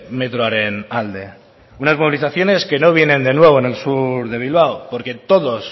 metroaren alde unas movilizaciones que no vienen de nuevo en el sur de bilbao porque todos